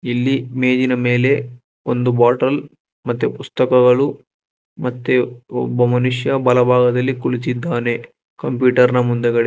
ಇಲ್ಲಿ ಮೇಜಿನ ಮೇಲೆ ಒಂದು ಬಾಟಲ್ ಮತ್ತೆ ಪುಸ್ತಕಗಳು ಮತ್ತೆ ಒಬ್ಬ ಮನುಷ್ಯ ಬಲಭಾಗದಲ್ಲಿ ಕುಳಿತಿದ್ದಾನೆ ಕಂಪ್ಯೂಟರ್ ನ ಮುಂದೆಗದೆ--